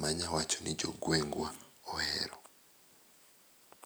manyawacho ni jogwengwa ohero.